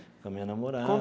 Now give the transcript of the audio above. Com a minha namorada.